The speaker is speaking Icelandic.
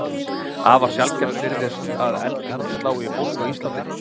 Afar sjaldgæft virðist að eldingum slái í fólk á Íslandi.